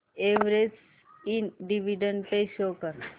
Everest ind dividend pay किती आहे